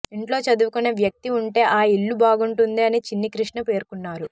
ఇంట్లో చదువుకొనే వ్యక్తి ఉంటే ఆ ఇళ్లు బాగుంటుంది అని చిన్ని కృష్ణ పేర్కొన్నారు